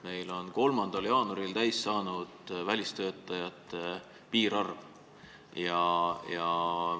Meil sai 3. jaanuaril täis välistöötajate piirarv.